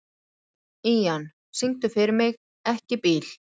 Ían, syngdu fyrir mig „Ekki bíl“.